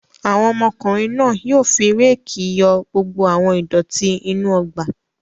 Àwọn ọmọkùnrin náà yóò fi réékì yọ gbogbo àwọn ìdọ̀tí inú ọgbà!